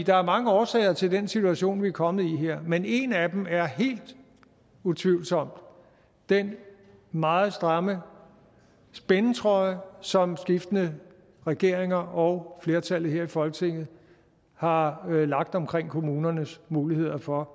der er mange årsager til den situation vi er kommet i her men en af dem er helt utvivlsomt den meget stramme spændetrøje som skiftende regeringer og flertallet her i folketinget har lagt omkring kommunernes muligheder for